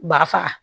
Ba faga